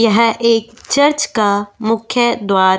यह एक चर्च का मुख्य द्वार --